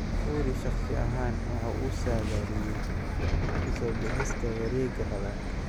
Fury shaqsi ahaan waxa uu saadaaliyay ku soo bixista wareega labaad.